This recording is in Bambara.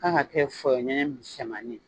K'a ka kɛ fɔyɔ ɲɛɲɛ misɛnmanin ye